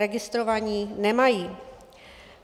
Registrovaní nemají.